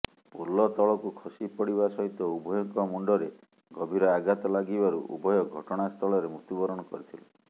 ପୋଲ ତଳକୁ ଖସିପଡ଼ିବା ସହିତ ଉଭୟଙ୍କ ମୁଣ୍ଡରେ ଗଭୀର ଆଘାତ ଲାଗିବାରୁ ଉଭୟ ଘଟଣାସ୍ଥଳରେ ମୃତ୍ୟୁ ବରଣ କରିଥିଲେ